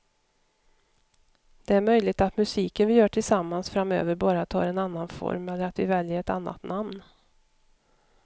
Det är möjligt att musiken vi gör tillsammans framöver bara tar en annan form eller att vi väljer ett annat namn.